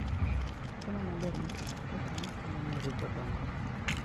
Chiemo maber moting'o protein konyo nyirigo dongo.